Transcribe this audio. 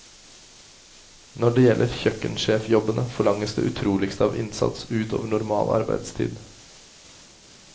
Når det gjelder kjøkkensjefjobbene, forlanges det utroligste av innsats ut over normal arbeidstid.